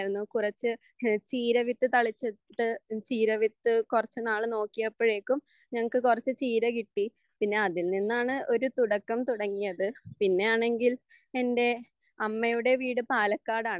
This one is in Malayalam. കുറച്ഛ് ചീരവിത്തുതളിച്ചിട്ട് ചീരവിത്ത് കുറച്ചുനാൾനോക്കിയപ്പോഴേക്കും ഞങ്ങൾക്ക് കുറച്ചു ചീര കിട്ടി പിന്നെ അതിൽ നിന്നാണ് ഒരു തുടക്കം തുടങ്ങിയത് പിന്നെ ആണെങ്കിൽ എൻ്റെ അമ്മയുടെ വീട് പാലക്കാടാണ്